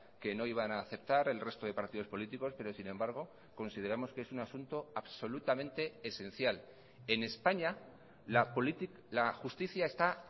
que no iban a aceptar el resto de partidos políticos pero sin embargo consideramos que es un asunto absolutamente esencial en españa la justicia está